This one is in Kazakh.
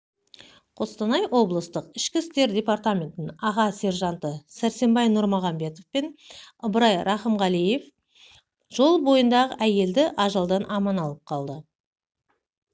қостанай облыстық ішкі істер департаментінің аға сержанттарысәрсенбай нұрмағамбетов пен ыбырай рақымғалиевжол бойында әйелді ажалдан аман алып